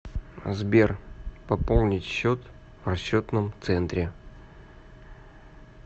сбер пополнить счет в расчетном центре